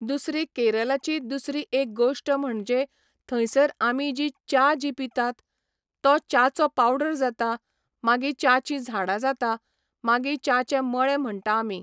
दुसरी केरलाची दुसरी एक गोश्ट म्हणजे थंयसर आमी जी च्या जी पितात, तो च्याचो पावडर जाता, मागी च्याचीं झाडां जाता, मागी च्याचे मळे म्हणटा आमी.